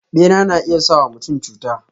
Bera na iya sa wa mutum cuta.